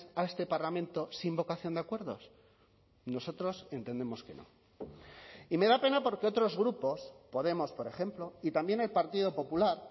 a este parlamento sin vocación de acuerdos nosotros entendemos que no y me da pena porque otros grupos podemos por ejemplo y también el partido popular